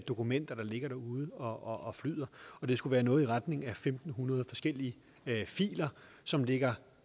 dokumenter der ligger derude og flyder det skulle være noget i retning af fem hundrede forskellige filer som ligger